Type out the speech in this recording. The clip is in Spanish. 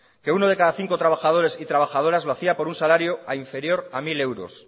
que uno de cada cinco trabajadores y trabajadoras lo hacía por un salario inferior a mil euros